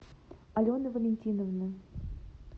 алены валентиновны